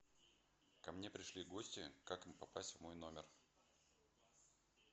ко мне пришли гости как им попасть в мой номер